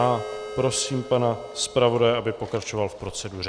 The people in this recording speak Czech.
A prosím pana zpravodaje, aby pokračoval v proceduře.